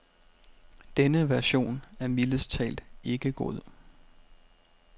Denne version er mildest talt ikke god.